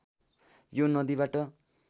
यो नदीबाट